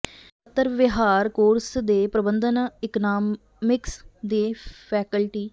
ਅਤੇ ਪੱਤਰ ਵਿਹਾਰ ਕੋਰਸ ਦੇ ਪ੍ਰਬੰਧਨ ਇਕਨਾਮਿਕਸ ਦੇ ਫੈਕਲਟੀ